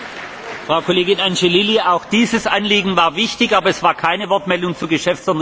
Frau Kollegin Angelilli, auch dieses Anliegen war wichtig, aber es war keine Wortmeldung zur Geschäftsordnung.